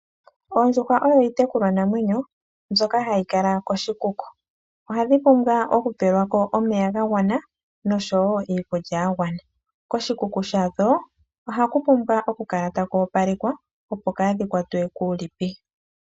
Oondjuhwa odho iitekulwa namwenyo mbyoka hayi kala koshikuku. Ohadhi pumbwa oku pelwa ko omeya ga gwana noshowo iikulya ya gwana. Koshikuku shadho ohaku pumbwa oku kala taku opalekwa, opo kaa dhi kwatwe kuulipi.